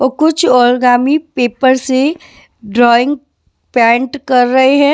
व कुछ origami paper से ड्राइंग पेंट कर रहे हैं।